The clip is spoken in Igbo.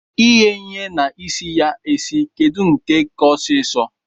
Ighe ihe na isi ya esi kedu nke ka ọsisọ?